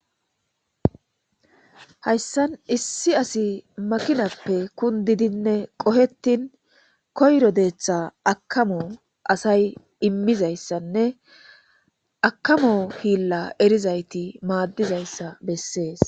hayssan issi asi makinappe kundidinne qohettin koyro deeththa akamo asay immizayssanne akamo hiilla erizayti maaddizayssa bessees